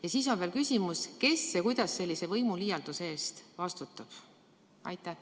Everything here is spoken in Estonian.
Ja siis on veel küsimus: kes ja kuidas sellise võimuliialduse eest vastutab?